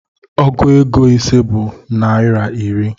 Ọgụ égo ise bụ naira iri